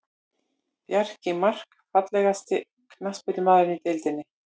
Bjarni Mark Fallegasti knattspyrnumaðurinn í deildinni?